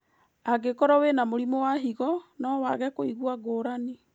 Angĩkorwo wĩna mũrimũ wa higo, no wage kũigua ngũrani